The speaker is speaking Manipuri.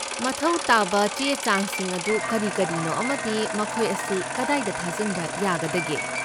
ꯃꯊꯧ ꯇꯥꯕ ꯆꯦ ꯆꯥꯡꯁꯤꯡ ꯑꯗꯨ ꯀꯔꯤ ꯀꯔꯤꯅꯣ ꯑꯃꯗꯤ ꯃꯈꯣꯏ ꯑꯁꯤ ꯀꯗꯥꯏꯗ ꯊꯥꯖꯤꯟꯕ ꯌꯥꯒꯗꯒꯦ?